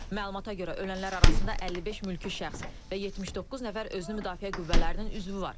Məlumata görə ölənlər arasında 55 mülki şəxs və 79 nəfər özünü müdafiə qüvvələrinin üzvü var.